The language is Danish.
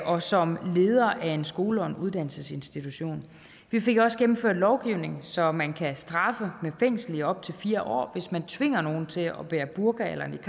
og som leder af en skole og en uddannelsesinstitution vi fik også gennemført lovgivning så man kan straffes med fængsel i op til fire år hvis man tvinger nogen til at bære burka eller niqab